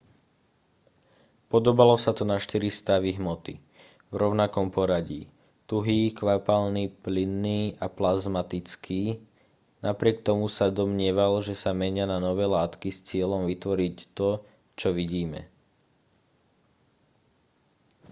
podobalo sa to na štyri stavy hmoty v rovnakom poradí: tuhý kvapalný plynný a plazmatický. napriek tomu sa domnieval že sa menia na nové látky s cieľom vytvoriť to čo vidíme